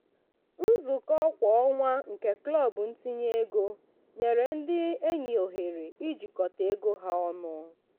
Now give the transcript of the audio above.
nzukọ kwa ọnwa nke klọb ntinye ego nyere ndị enyi ohere ijikọta ego ha ọnụ.